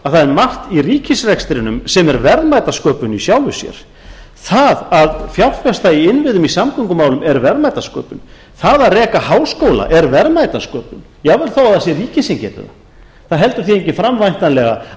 það er margt í ríkisrekstrinum sem er verðmætasköpun í sjálfu sér það að fjárfesta í innviðum í samgöngumálum er verðmætasköpun það að reka háskóla er verðmætasköpun jafnvel þó það sé ríkið sem geti það það heldur því enginn fram væntanlega